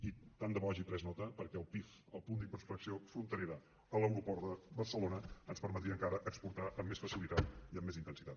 i tant de bo n’hagi pres nota perquè el pif el punt d’inspecció fronterera a l’aeroport de barcelona ens permetria encara exportar amb més facilitat i amb més intensitat